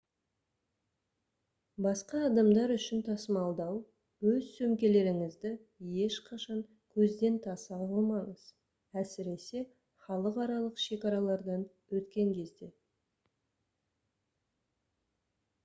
басқа адамдар үшін тасымалдау өз сөмкелеріңізді ешқашан көзден таса қылмаңыз әсіресе халықаралық шекаралардан өткен кезде